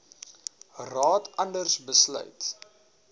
raad anders besluit